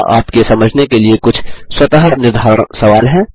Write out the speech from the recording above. यहाँ आपके समझने के लिए कुछ स्वतः निर्धारण सवाल हैं